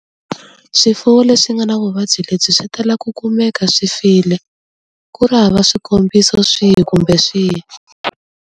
Swifuwo leswi nga na vuvabyi lebyi swi tala ku kumeka swi file ku ri hava swikombiso swihi kumbe swihi.